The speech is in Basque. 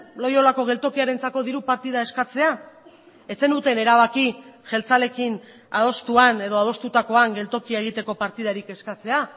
loiolako geltokiarentzako diru partida eskatzea ez zenuten erabaki jeltzaleekin adostuan edo adostutakoan geltokia egiteko partidarik eskatzea